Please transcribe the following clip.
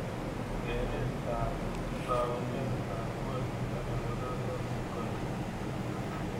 Geeretab taundetab koristob nebo raa ko ngori